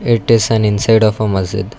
it is an inside of a masjid.